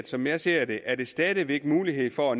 som jeg ser det er der stadig væk mulighed for